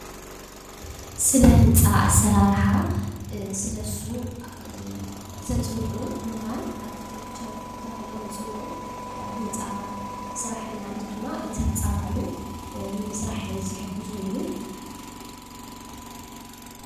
ስለ ህንፃ አሰራርሓ ስለ እሱ ዘፅንዑ ሙሁራን አርቲቴክቸር ተባሂሎም ይፅውዑ። ህንፃ ስራሕን ማለት ድማ እቲ ህንፃ ባዕሉ ንምስራሕ ዝሕግዙ እዩ።